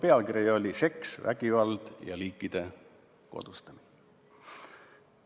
Pealkiri oli "Seks, vägivald ja liikide kodustamine".